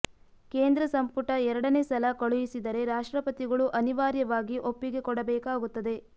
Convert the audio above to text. ಕೇಂದ್ರ ಸಂಪುಟ ಎರಡನೇ ಸಲ ಕಳುಹಿಸಿದರೆ ರಾಷ್ಟ್ರಪತಿಗಳು ಅನಿವಾರ್ಯವಾಗಿ ಒಪ್ಪಿಗೆ ಕೊಡಬೇಕಾಗುತ್ತದೆ